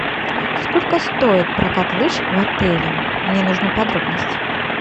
сколько стоит прокат лыж в отеле мне нужны подробности